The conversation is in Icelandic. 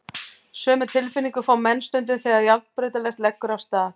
Sömu tilfinningu fá menn stundum þegar járnbrautarlest leggur af stað.